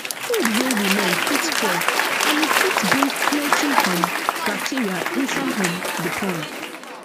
food wey remain fit spoil and e fit bring plenty um bacteria inside um the pond